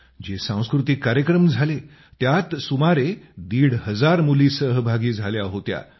जे सांस्कृतिक कार्यक्रम झाले त्यात सुमारे दीड हजार मुली सहभागी झाल्या होत्या